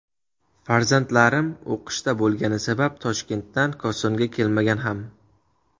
Farzandlarim o‘qishda bo‘lgani sabab Toshkentdan Kosonga kelmagan ham.